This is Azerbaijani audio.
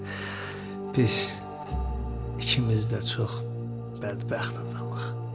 Biz ikimiz də çox bədbəxt adamıq, cənab.